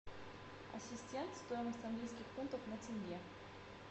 ассистент стоимость английских фунтов на тенге